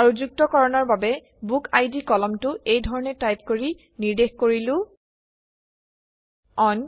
আৰু যুক্তকৰণৰ বাবে বুকআইডি কলমটো এই ধৰণে টাইপ কৰি নিৰ্দেশ কৰিলো অন